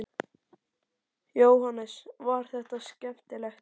Jóhannes: Var þetta skemmtilegt?